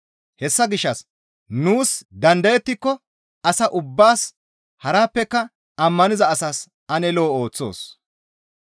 Hessa gishshas nuus dandayettiko asa ubbaas harappeka ammaniza asaas ane lo7o ooththoos.